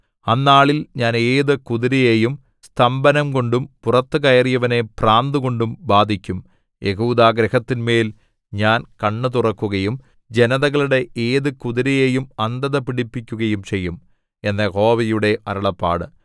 അന്നാളിൽ ഞാൻ ഏതു കുതിരയെയും സ്തംഭനംകൊണ്ടും പുറത്തു കയറിയവനെ ഭ്രാന്തുകൊണ്ടും ബാധിക്കും യെഹൂദാഗൃഹത്തിന്മേൽ ഞാൻ കണ്ണ് തുറക്കുകയും ജനതകളുടെ ഏതു കുതിരയെയും അന്ധതപിടിപ്പിക്കുകയും ചെയ്യും എന്നു യഹോവയുടെ അരുളപ്പാട്